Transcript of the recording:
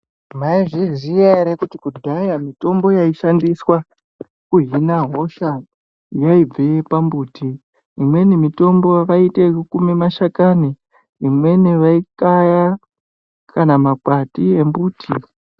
Maizviziva here kuti kudhaya mitombo yaishandiswa kuhina hosha yaibve pambuti inweni mitombo vayite yekukume mashakani imweni vayikaya kana makwati embuti.